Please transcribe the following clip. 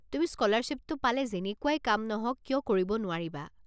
তুমি স্ক'লাৰশ্বিপটো পালে যেনেকুৱাই কাম নহওক কিয় কৰিব নোৱাৰিবা।